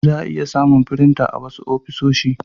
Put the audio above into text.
za'a iya samun firinta a wasu ofisoshi.